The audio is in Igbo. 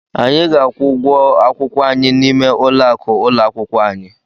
Anyị ga-akwụ ụgwọ akwụkwọ anyị n'ime ụlọakụ ụlọ akwụkwọ anyị.